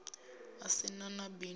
u si na na bindu